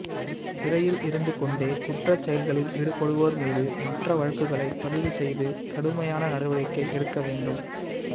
சிறையில் இருந்துகொண்டே குற்றச் செயல்களில் ஈடுபடுவோா் மீது மற்ற வழக்குகளை பதிவு செய்து கடுமையான நடவடிக்கை எடுக்க வேண்டும்